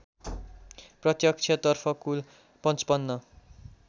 प्रत्यक्षतर्फ कुल ५५